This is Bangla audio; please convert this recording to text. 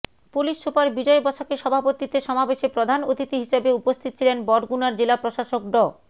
পুলিশ সুপার বিজয় বসাকের সভাপতিত্বে সমাবেশে প্রধান অতিথি হিসেবে উপস্থিত ছিলেন বরগুনার জেলা প্রশাসক ড